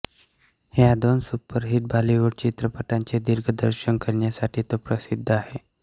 ह्या दोन सुपरहिट बॉलिवूड चित्रपटांचे दिग्दर्शन करण्यासाठी तो प्रसिद्ध आहे